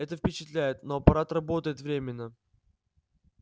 это впечатляет но аппарат работает временно